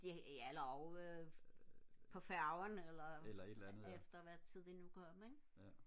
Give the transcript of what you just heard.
ja eller ovre på færgen eller efter hvad tid de nu kom ikke